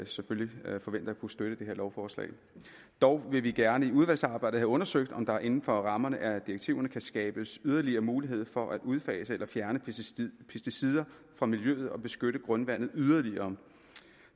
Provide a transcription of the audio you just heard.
selvfølgelig forventer at kunne støtte det her lovforslag dog vil vi gerne i udvalgsarbejdet have undersøgt om der inden for rammerne af direktiverne kan skabes yderligere mulighed for at udfase eller fjerne pesticider fra miljøet og beskytte grundvandet yderligere